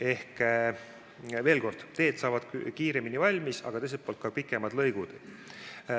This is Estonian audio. Ehk veel kord: teed saavad kiiremini valmis, aga teiselt poolt on töös pikemad lõigud.